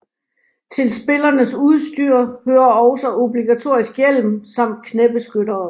Til spillernes udstyr hører også obligatorisk hjelm samt knæbeskyttere